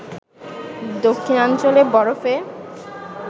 দক্ষিণাঞ্চলে বরফে